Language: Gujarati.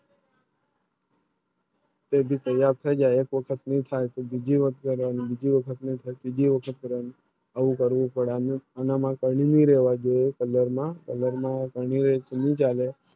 તે ભી તૈયાર થઈ જાય કોટક શું થાય તો બીજું વક્ત કહેવાય તો બીજું વક્ત ની બીજું વખત કરવાનું આવું કરવું પડા નું એવામાં કરવી રહેવા દે color માં color માં શું ચાલે